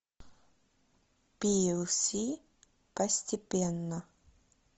пиэлси постепенно